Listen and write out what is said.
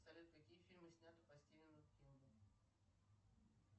салют какие фильмы сняты по стивену кингу